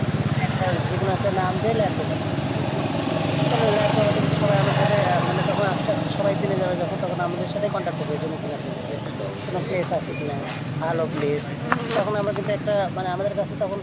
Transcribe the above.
হ্যাঁ যেকোনও একটা নাম দিয়ে land properties business তাহলে Land property-র সবাই আমাদের সাথে মানে তখন আসতে আসতে সবাই জেনে যাবে যখন আমাদের সাথে Contact করবে তখন জমি কেনার জন্য যে কোনও place আছে কিনা ভালো place তখন আমরা কিন্তু একটা মানে আমাদের কাছে তখন